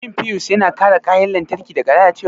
Shin fiyus yana kare kayan lantarki daga lalacewa?